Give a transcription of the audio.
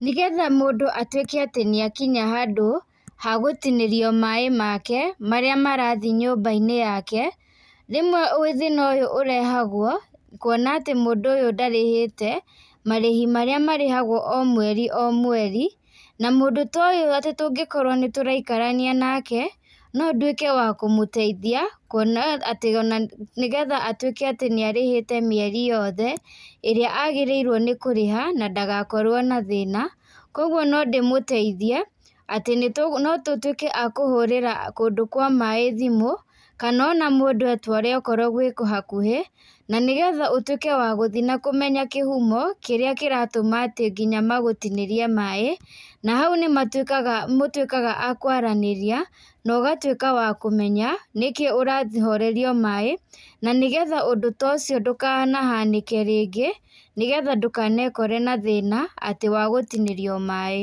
Nĩgetha mũndũ atuĩke atĩ nĩakinya handũ, ha gũtinĩrio maĩ make, marĩa marathiĩ nyũmbainĩ yake, rĩmwe thina ũyũ ũrehagwo, kuona atĩ mũndũ ũyũ ndarĩhĩte, marĩhi marĩa marĩhagwo o mweri o mweri, na mũndũ ta ũyũ atĩ tũngikorwo nĩtũraikarania nake, no nduĩke wa kũmũteithia, kuona atĩ onanĩgetha atuĩke atĩ nĩarĩhĩte mĩeri yothe, ĩrĩa agĩrĩirwo nĩ kũrĩha, na ndagakorwo na thĩna, koguo no ndĩmũteithie, atĩ no tũtuĩke a kũhũrĩra kũndũ kwa maĩ thimũ, kana ona mũndũ etware okorwo gwĩ hakũhĩ, na nĩgetha ũtuĩke wa gũthiĩ na kũmenya kĩhumo kĩrĩa kĩratũma atĩ nginya magũtinĩrie maĩ, na hau nĩmatuĩkaga mũtuĩkaga akwarĩnĩria, nogatuĩka wa kũmenya, nĩkĩi ũrahorerio maĩ, na nĩgetha ũndũ ta ũcio ndũkanahanĩke rĩngĩ, nĩgetha ndũkanekore na thĩna, atĩ wa gũtinĩrio maĩ.